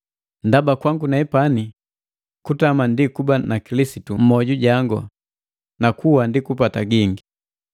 Ndaba kwangu nepani kutama ndi kuba na Kilisitu mmoju jango, na kuwa ndi kupata gingi.